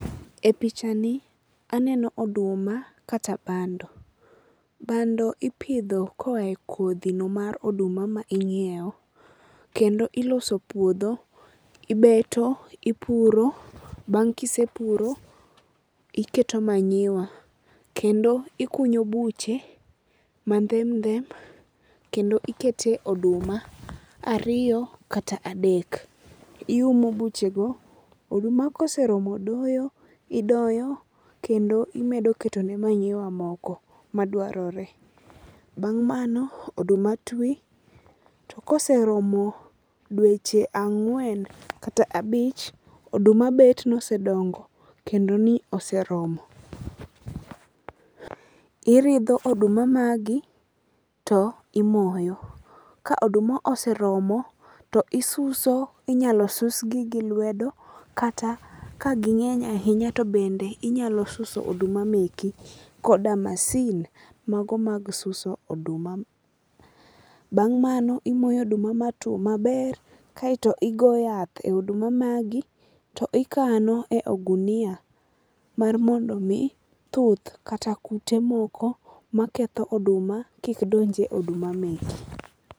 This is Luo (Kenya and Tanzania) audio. E pichani aneno oduma kata bando. Bando ipidho koa e kodhino mar oduma ma ing'ieo kendo iloso puodho, ibeto, ipuro bang' kisepuro iketo manyiwa kendo ikunyo buche mandhem ndhem kendo ikete oduma ariyo kata adek, iumo buchego. Oduma koseromo doyo, idoyo kendo imedo ketone manyiwa moko madwarore. Bang' mano oduma twi to koseromo dweche ang'wen kata abich, oduma bet nosedongo kendo ni oseromo. Iridho oduma magi to imoyo. Ka oduma oseromo to isuso, inyalo susgi gi lwedo kata ka ging'eny ahinya to bende inyalo suso oduma meki koda masin mago mag suso oduma. Bang' mano imoyo oduma matwo maber kaeto igo yath e oduma magi to ikano e ogunia mar mondo omi thuth kata kute moko maketho oduma kik donje oduma meki.